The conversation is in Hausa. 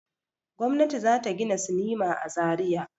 Gwamnati za ta gina sinima a Zariya.